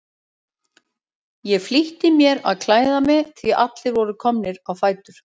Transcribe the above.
Ég flýtti mér að klæða mig því að allir voru komnir á fætur.